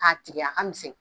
k'a tigɛ a ka misɛn.